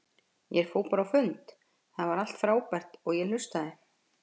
Ég fór bara á fundi, það var allt frábært, og ég hlustaði.